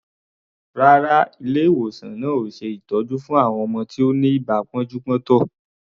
Rárá, ilé-ìwòsan náà ò ṣe ìtọ́jú fún àwọn ọmọ tí ó ní ibà pọ́njú-pọ́ntọ̀.